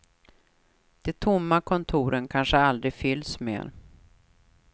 De tomma kontoren kanske aldrig fylls mer.